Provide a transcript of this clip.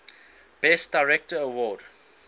best director award